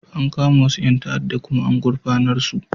An kama wasu 'yan ta'addan kuma an gurfanar su.